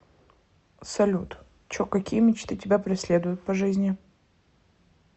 салют чо какие мечты тебя преследуют по жизни